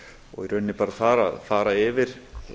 og í rauninni bara fara yfir